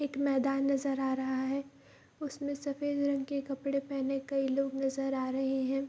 एक मैदान नजर आ रहा है उसमे सफ़ेद रंग के कपड़े पहने कई लोग नजर आ रहे हैं।